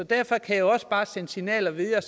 derfor kan jeg sende signalet videre